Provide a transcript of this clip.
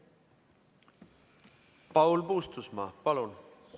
Paul Puustusmaa, palun!